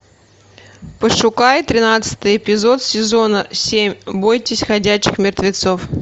пошукай тринадцатый эпизод сезона семь бойтесь ходячих мертвецов